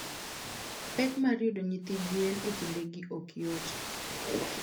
pek mar yudo nyithi gwen e kindegi ok yot.